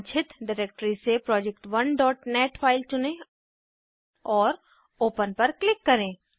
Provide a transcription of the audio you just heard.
वांछित डिरेक्टरी से project1नेट फाइल चुनें और ओपन पर क्लिक करें